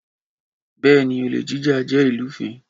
Bèéní, olè jíjà jẹ́ ìlúfin.